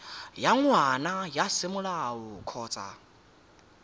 wa ngwana wa semolao kgotsa